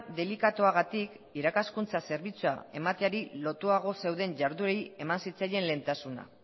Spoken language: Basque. delikatuagatik irakaskuntza zerbitzua emateari lotuago zeuden jarduerei eman zitzaien lehentasuna